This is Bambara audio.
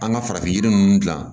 An ka farafin yiri ninnu dilan